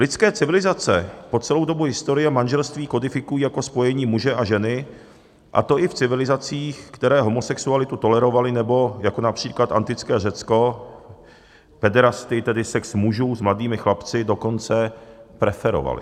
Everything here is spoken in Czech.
Lidské civilizace po celou dobu historie manželství kodifikují jako spojení muže a ženy, a to i v civilizacích, které homosexualitu tolerovaly, nebo, jako například antické Řecko pederastii, tedy sex mužů s mladými chlapci, dokonce preferovaly.